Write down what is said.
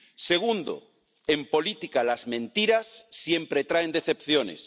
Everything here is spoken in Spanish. segundo, en política las mentiras siempre traen decepciones